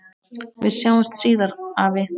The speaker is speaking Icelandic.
Við sjáumst síðar, afi.